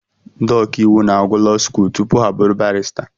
Ndị ọkàiwu na-agụ law skuul tupu ha abụrụ barịsta